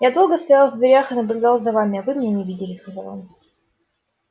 я долго стоял в дверях и наблюдал за вами а вы меня не видели сказал он